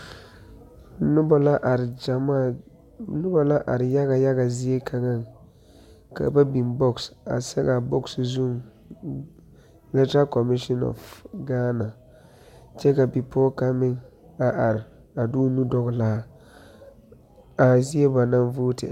Noba la are yaga yaga lɛ zie kaŋa ka ba biŋ bɔɔse a sɛge a bɔɔse zuŋ electral commissioned of Gaana, kyɛ ka bipɔge kaŋa meŋ are a de o nu dɔgli a zie ba naŋ vootri.